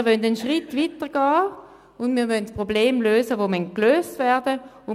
Wir wollen einen Schritt weitergehen und die Probleme lösen, die gelöst werden müssen.